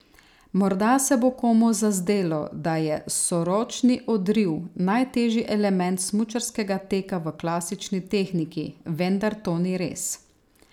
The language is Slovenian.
Morda se bo komu zazdelo, da je soročni odriv najtežji element smučarskega teka v klasični tehniki, vendar to ni res.